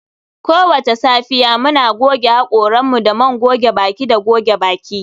Kowace safiya, muna goge haƙoranmu da man goge baki da goge baki